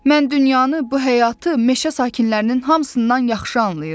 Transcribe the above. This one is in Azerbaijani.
Mən dünyanı, bu həyatı meşə sakinlərinin hamısından yaxşı anlayıram.